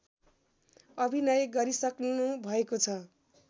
अभिनय गरिसक्नु भएको छ